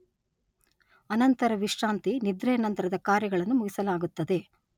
ಅನಂತರ ವಿಶ್ರಾಂತಿ, ನಿದ್ರೆಯ ನಂತರದ ಕಾರ್ಯಗಳನ್ನು ಮುಗಿಸಲಾಗುತ್ತದೆ